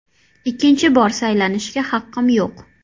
Ikkinchi bor saylanishga haqqim yo‘q.